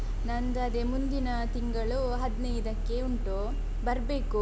ನಂದು ಅದೆ ಮುಂದಿನ ತಿಂಗಳು ಹದ್ನೈದಕ್ಕೆ ಉಂಟು ಬರ್ಬೇಕು.